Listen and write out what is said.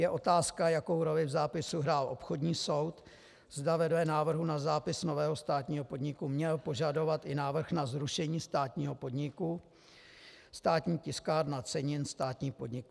Je otázka, jakou roli v zápisu hrál obchodní soud, zda vedle návrhu na zápis nového státního podniku měl požadovat i návrh na zrušení státního podniku Státní tiskárna cenin, státní podnik.